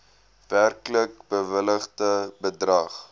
werklik bewilligde bedrag